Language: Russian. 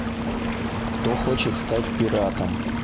кто хочет стать пиратом